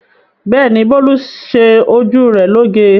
Bẹ́ẹ̀ ni, Bólú ṣe ojú rẹ̀ lóge.